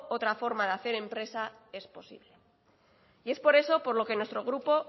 otra forma de hacer empresa es posible y es por eso por lo que nuestro grupo